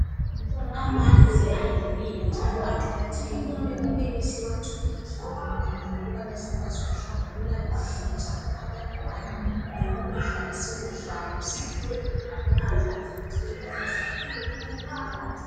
Amanzi ayimpilo njalo aqakathekile kumele siwathole ehlambulukile ukubana sikwazi ukuhlambulula izitsha abantwana lokudla esikudlayo kumele kuhlanzeke.